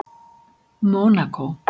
Mónakó